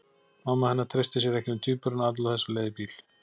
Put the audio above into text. Mamma hennar treysti sér ekki með tvíburana alla þessa leið í bíl.